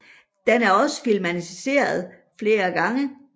Den er også filmatiseret flere gange